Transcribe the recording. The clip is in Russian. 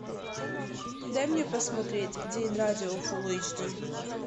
дай мне посмотреть день радио фулл эйч ди